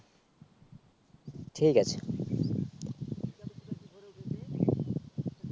ঠিক আছে